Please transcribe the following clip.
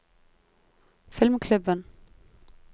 filmklubben